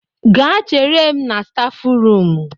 Gaa chere m na stafu rum